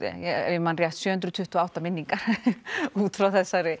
ef ég man rétt sjö hundruð tuttugu og átta minningar út frá þessari